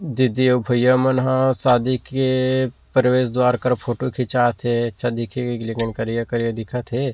दीदी अऊ भइया मन ह शादी के प्रवेश द्वार पर फोटो खींचा थे अच्छा दिख ही लेकिन करिया-करिया दिखा थे।